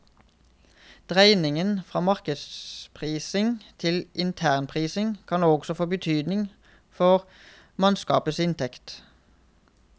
Dreiningen fra markedsprising til internprising kan også få betydning for mannskapenes inntekt.